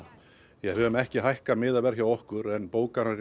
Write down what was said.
við höfum ekki hækkað miðaverð hjá okkur en bókanir